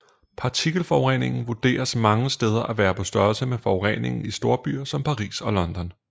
Partikelforureningen vurderes mange steder at være på størrelse med forureningen i storbyer som Paris og London